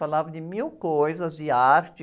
Falava de mil coisas, de arte,